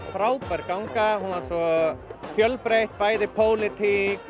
frábær ganga hún var svo fjölbreytt bæði pólitík